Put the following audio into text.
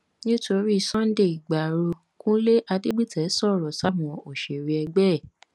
nítorí sunday igbárò kúnlé adégbite sọrọ sáwọn òṣèré ẹgbẹ ẹ